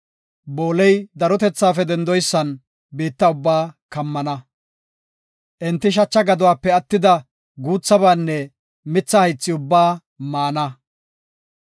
Booley darotethaafe dendoysan biitta ubba kammana. Enti shacha gaduwape attida guuthabanne mitha haythi ubbaa maana.